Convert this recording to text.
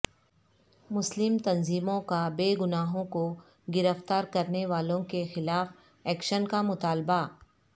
مسلم تنظیموں کا بے گناہوں کو گرفتار کرنے والوں کے خلاف ایکشن کا مطالبہ